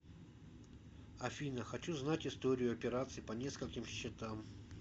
афина хочу знать историю операций по нескольким счетам